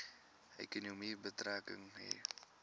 ekonomie betrekking hê